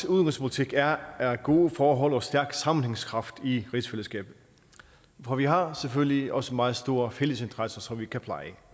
udenrigspolitik er af gode forhold og stærk sammenhængskraft i rigsfællesskabet for vi har selvfølgelig også en meget stor fællesinteresse som vi kan pleje